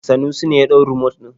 Sanusi ne ya ɗau rumot ɗin.